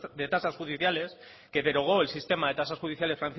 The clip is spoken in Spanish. de tasas judiciales que derogó el sistema de tasas judiciales